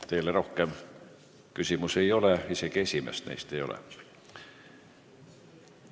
Teile rohkem küsimusi ei ole ja isegi esimest küsimust ei ole.